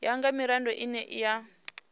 ya nga mirado ine ya